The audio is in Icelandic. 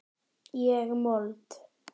Ég mold.